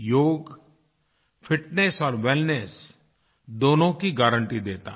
योगfitness और वेलनेस दोनों की गारंटी देता है